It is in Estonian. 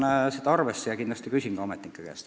Aga võtan seda arvesse ja kindlasti küsin ametnike käest.